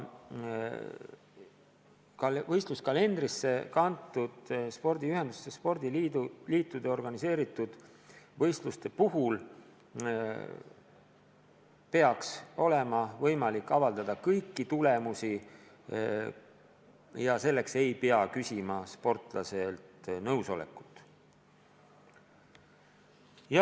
Võistluskalendrisse kantud spordiühenduste, spordiliitude organiseeritud võistluste puhul peaks olema võimalik avaldada kõik tulemused ja selleks ei peaks sportlastelt nõusolekut küsima.